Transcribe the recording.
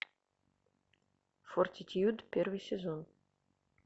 фортитьюд первый сезон